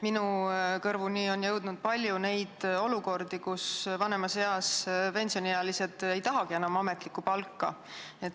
Minu kõrvu on jõudnud palju olukordi, kus vanemas eas pensioniealised ei tahagi enam ametlikku palka.